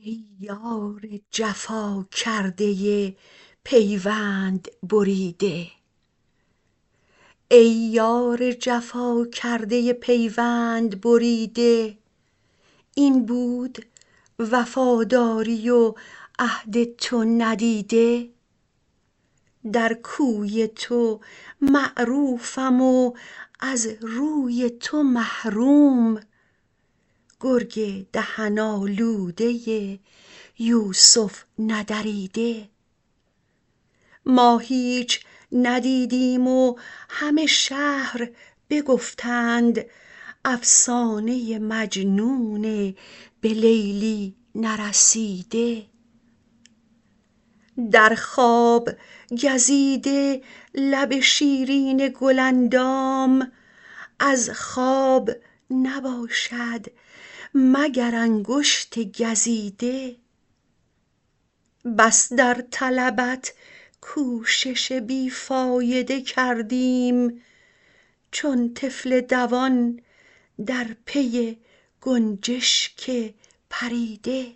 ای یار جفا کرده پیوند بریده این بود وفاداری و عهد تو ندیده در کوی تو معروفم و از روی تو محروم گرگ دهن آلوده یوسف ندریده ما هیچ ندیدیم و همه شهر بگفتند افسانه مجنون به لیلی نرسیده در خواب گزیده لب شیرین گل اندام از خواب نباشد مگر انگشت گزیده بس در طلبت کوشش بی فایده کردیم چون طفل دوان در پی گنجشک پریده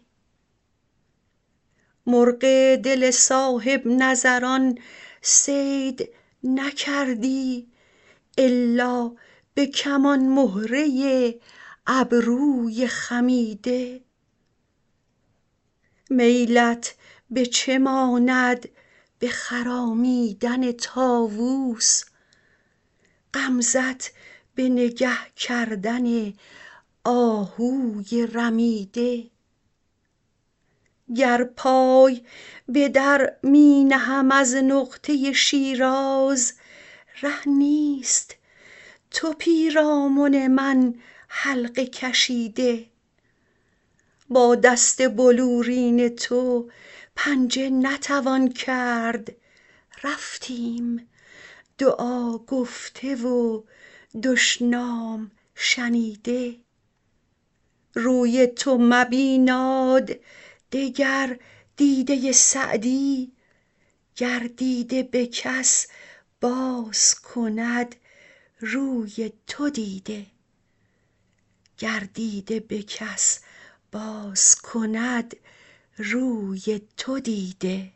مرغ دل صاحب نظران صید نکردی الا به کمان مهره ابروی خمیده میلت به چه ماند به خرامیدن طاووس غمزه ت به نگه کردن آهوی رمیده گر پای به در می نهم از نقطه شیراز ره نیست تو پیرامن من حلقه کشیده با دست بلورین تو پنجه نتوان کرد رفتیم دعا گفته و دشنام شنیده روی تو مبیناد دگر دیده سعدی گر دیده به کس باز کند روی تو دیده